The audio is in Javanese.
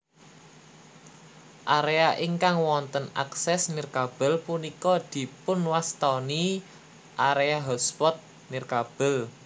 Area ingkang wonten akses nirkabel punika dipunwastani area hotspot nirkabel